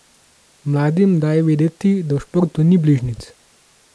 Mladim daje vedeti, da v športu ni bližnjic.